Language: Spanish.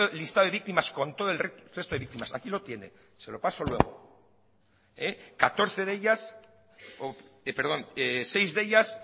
listado de víctimas con todo el resto de víctimas aquí lo tiene se lo paso luego seis de ellas